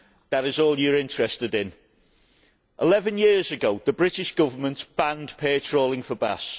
That is all you are interested in. Eleven years ago, the British Government banned pair trawling for bass.